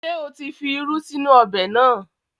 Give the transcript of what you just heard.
Ṣé o tí fi irú sínú ọbẹ̀ náà?